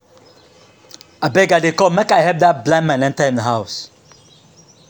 Abeg I dey come, make I help dat blind man enter im house.